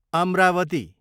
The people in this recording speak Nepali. अमरावती